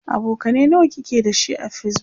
abokanai nawa kike da shi a facebook?